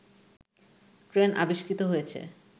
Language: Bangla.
ট্রেন আবিষ্কৃত হয়েছে